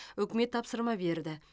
үкімет тапсырма берді